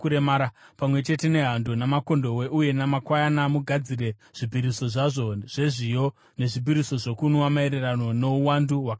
Pamwe chete nehando, namakondobwe uye namakwayana mugadzire zvipiriso zvazvo zvezviyo nezvipiriso zvokunwa maererano nouwandu hwakarayirwa.